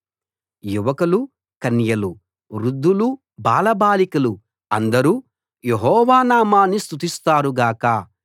యువకులు కన్యలు వృద్ధులు బాలబాలికలు అందరూ యెహోవా నామాన్ని స్తుతిస్తారు గాక